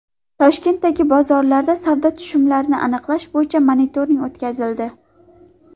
Toshkentdagi bozorlarda savdo tushumlarini aniqlash bo‘yicha monitoring o‘tkazildi.